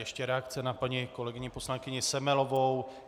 Ještě reakce na paní kolegyni poslankyni Semelovou.